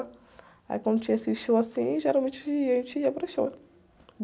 Aí quando tinha esse show assim, geralmente a gente ia para o show.